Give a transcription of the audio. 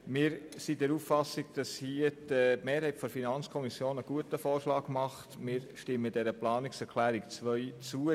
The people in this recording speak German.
Wir sind der Auffassung, dass die Mehrheit der FiKo einen guten Vorschlag macht und stimmen der Planungserklärung 2 zu.